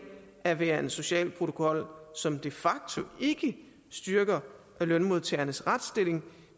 at blive en social protokol som de facto ikke styrker lønmodtagernes retsstilling